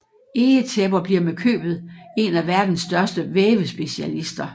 Egetæpper bliver med købet en af verdens største vævespecialister